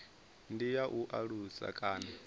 ndi ya u alusa kana